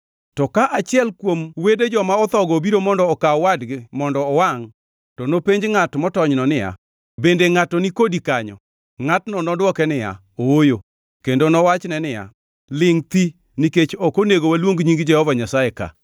To ka achiel kuom wede joma othogo obiro mondo okaw wadgi mondo owangʼ, to nopenj ngʼat motonyno niya, “Bende ngʼato ni kodi kanyo?” Ngʼatno nodwoke niya, “ooyo,” kendo nowachne niya, “Lingʼ thi nikech ok onego waluong nying Jehova Nyasaye ka.”